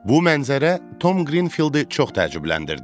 Bu mənzərə Tom Qrinfieldi çox təəccübləndirdi.